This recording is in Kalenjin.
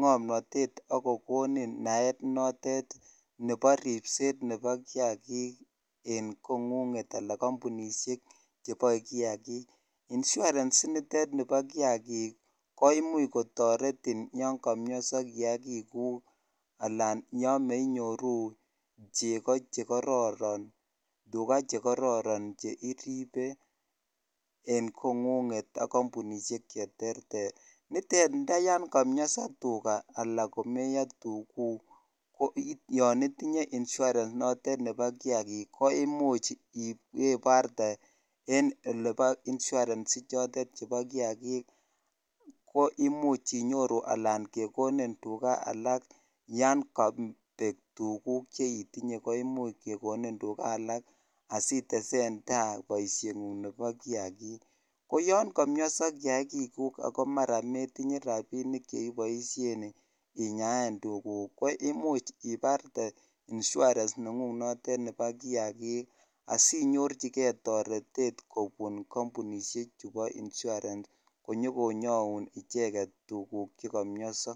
komnotet ak kokonin naet nebo ribset nebo kiyakik en kongung ala kampunishek choboe kiyakik insurance initet nibo kiyakik ko imuch kotoretin yan komnyoso kiyakik guk alan yan menyoru cheko chekororon , tugaa chekororon cheiribe en kongunget ak kabunishej cheterter nite indayan komweso alan komeyo tugug yon itinye insurance notet nebo kiyakik ko imuch inmbaibarte en olebo insurance inotet chobo kiyakik ko imuch inyoru sla kekonin tugaa alak yon kobek tugug cheitinye ko imuch kekonin tuga alak asiten tai boishe ngung nebo kiyakik ko yon komnyoso kiyakik gug ako moitinye rabinik cheiboishen inyaen tugug ko imuch ipartee Insurance negug nebo kiyakik asinyorchi kei torete kobon kompu ishk chubo insurance konyokonyoun tugug che komnyoso .